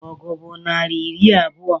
Ọgụ bụ naịra iri abụọ